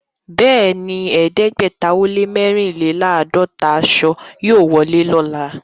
Bẹ́ẹ̀ni, ẹ̀ẹ́dẹ́gbẹ̀tà ó lẹ́ mẹ́rìnléláàádọ́tà àṣọ yóò wọlé lọ́lá.